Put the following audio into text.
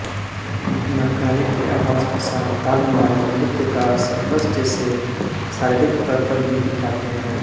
नक्कारे की आवाज के साथ ताल मिलाकर नृत्यकार सर्कस जैसे शारीरिक करतब भी दिखाते हैं